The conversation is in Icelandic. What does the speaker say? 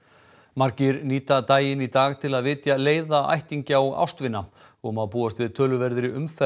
margir nýta daginn í dag til að vitja leiða ættingja og ástvina og má búast við töluverðri umferð